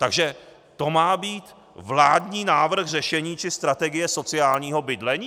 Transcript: Takže to má být vládní návrh řešení či strategie sociálního bydlení?